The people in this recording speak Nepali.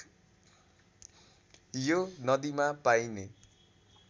यो नदीमा पाइने